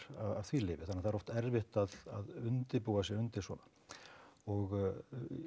af því lyfi þannig að það er oft erfitt að undirbúa sig undir svona og